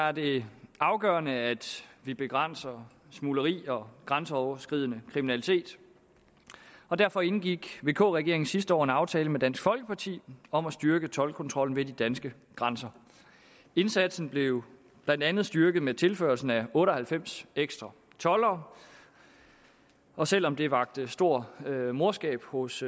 er det afgørende at vi begrænser smugleri og grænseoverskridende kriminalitet og derfor indgik vk regeringen sidste år en aftale med dansk folkeparti om at styrke toldkontrollen ved de danske grænser indsatsen blev blandt andet styrket med tilførslen af otte og halvfems ekstra toldere og selv om det vakte stor morskab hos